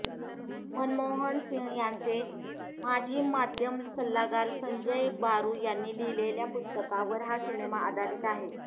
मनमोहन सिंह यांचे माजी माध्यम सल्लागार संजय बारू यांनी लिहिलेल्या पुस्तकावर हा सिनेमा आधारित आहे